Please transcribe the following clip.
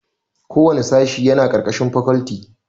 Kowanne sashe yana ƙarƙashin fakalti